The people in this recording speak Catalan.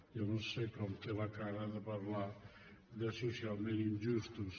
jo no sé com té la cara de parlar de socialment injustos